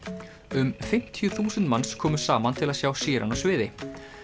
um fimmtíu þúsund manns komu saman til að sjá Sheeran á sviði